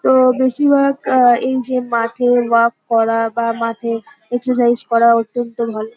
তো বেশিরভাগ আহ এই যে মাঠে ওয়ার্ক করা বা মাঠে এক্সারসাইস করা অত্যন্ত ভালো।